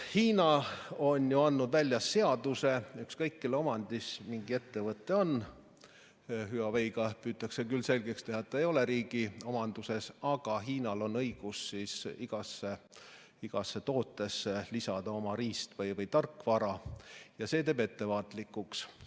... andnud välja seaduse, et ükskõik kelle omandis mingi ettevõte on, Huawei puhul püütakse küll selgeks teha, et ta ei ole riigi omanduses, aga Hiinal on õigus igasse tootesse lisada oma riist- või tarkvara, ja see teeb ettevaatlikuks.